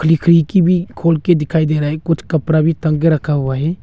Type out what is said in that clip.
की भी खोल के दिखाई दे रहा है कुछ कपड़ा भी टांग के रखा हुआ है।